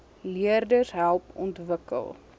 leerders help ontwikkel